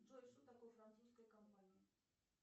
джой что такое французская компания